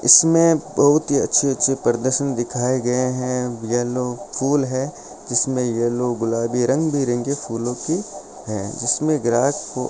इसमें बहुत ही अच्छे अच्छे प्रदर्शन दिखाए गए हैं येलो फुल है जिसमें यह लोग गुलाबी रंग बिरंगी फूलों की है जिसमें ग्राहक फू --